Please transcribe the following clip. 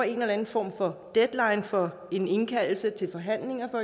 en eller anden form for deadline for indkaldelse til forhandlinger